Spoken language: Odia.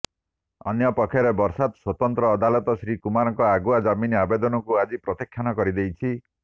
ଅନ୍ୟପକ୍ଷରେ ବରାସତ୍ ସ୍ୱତନ୍ତ୍ର ଅଦାଲତ ଶ୍ରୀ କୁମାରଙ୍କ ଆଗୁଆ ଜାମିନ୍ ଆବେଦନକୁ ଆଜି ପ୍ରତ୍ୟାଖ୍ୟାନ କରିଦେଇଛି